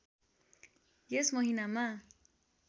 यस महिनामा